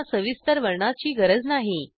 त्यांना सविस्तर वर्णनाची गरज नाही